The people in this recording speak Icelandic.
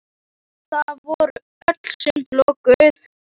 Og þá voru öll sund lokuð!